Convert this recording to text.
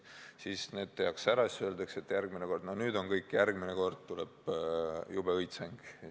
Siis see tehakse ära, öeldakse, et nüüd on kõik, järgmine kord tuleb juba õitseng.